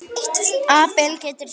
Abel getur þýtt